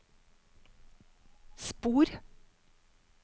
spor